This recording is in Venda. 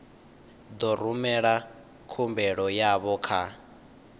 ḓo rumela khumbelo yavho kha